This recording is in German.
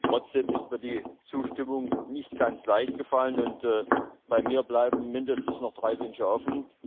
Trotzdem ist mir die Zustimmung nicht ganz leicht gefallen, und bei mir bleiben mindestens noch drei Wünsche offen.